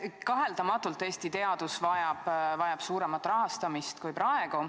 Kaheldamatult vajab Eesti teadus suuremat rahastamist kui praegu.